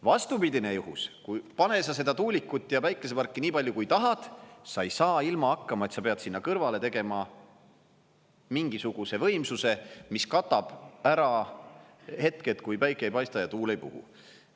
Vastupidine juhus, pane sa seda tuulikut ja päikeseparki nii palju, kui tahad, sa ei saa ilma hakkama, et sa pead sinna kõrvale tegema mingisuguse võimsuse, mis katab ära hetked, kui päike ei paista ja tuul ei puhu.